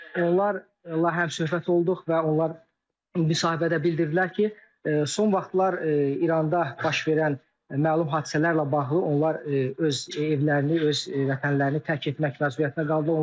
Onlar həm söhbət olduq və onlar müsahibədə bildirdilər ki, son vaxtlar İranda baş verən məlum hadisələrlə bağlı onlar öz evlərini, öz vətənlərini tərk etmək məcburiyyətində qaldılar.